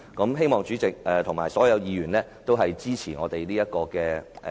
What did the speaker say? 我希望主席和所有議員均支持這項議案。